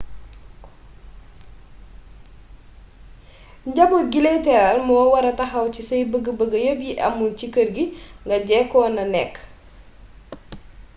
njaboot gi lay teral moo wara taxaw ci say bëgg bëgg yepp yi amul ci kër gi nga njëkkoona nekk